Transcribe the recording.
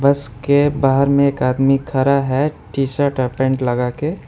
इसके बाहर में एक आदमी खरा है टीशर्ट हाफ पैंट लगा के।